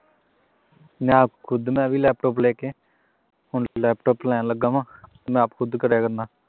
ਮੈਂ ਵੀ ਆਪ ਖੁਦ ਮੈਂ ਵੀ laptop ਲੈ ਕੇ ਹੁਣ laptop ਲੈਣ ਲੱਗਾ ਵਾਂ ਮੈਂ ਆਪ ਖੁਦ ਕਰਿਆ ਕਰਨਾ